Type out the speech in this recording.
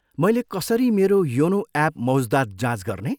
मैले कसरी मेरो योनो एप मौज्दात जाँच गर्ने?